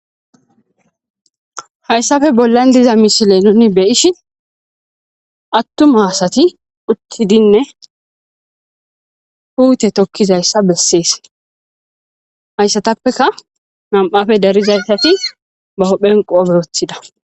Hayssafe bollan diza misile nuni be7ishin attuma asati uttidinne puute tokkizayssa bessees. Haysatappeka nam7afe darizaysati huphen qoobe wothida.